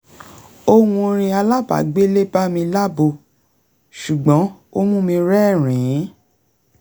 ohùn orin alábàágbélé bá mi lábo ṣùgbọ́n ó mú mi rẹ́rìn-ín